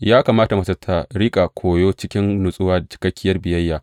Ya kamata mace ta riƙa koyo cikin natsuwa da cikakkiyar biyayya.